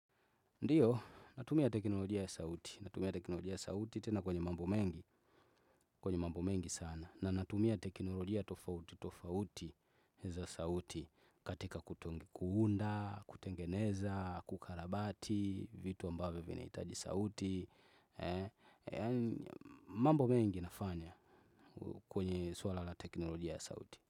Ndiyo, natumia teknolojia ya sauti, natumia teknolojia ya sauti tena kwenye mambo mengi, kwenye mambo mengi sana, na natumia teknolojia ya tofauti, tofauti za sauti katika kutonga, kuunda, kutengeneza, kukarabati, vitu ambavyo vinahitaji sauti, mambo mengi nafanya kwenye swala la teknolojia ya sauti.